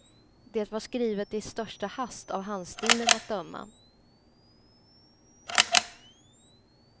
Det var skrivet i största hast av handstilen att döma.